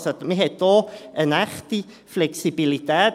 Man hat hier also eine echte Flexibilität.